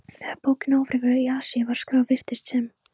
Þegar bókin Ófriður í aðsigi var skráð, virtist sem